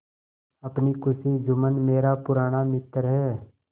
अपनी खुशी जुम्मन मेरा पुराना मित्र है